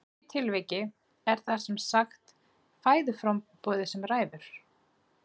Í því tilviki er það sem sagt fæðuframboðið sem ræður.